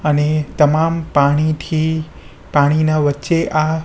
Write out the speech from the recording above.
અને તમામ પાણીથી પાણીના વચ્ચે આ--